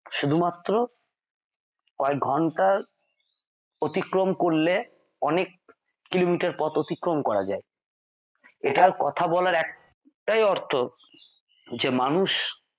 শুধুমাত্র কয় ঘন্টার অতিক্রম করলে অনেক কিলোমিটার পথ অতিক্রম করা যায়। এটা কথা বলার একটাই অর্থ যে মানুষ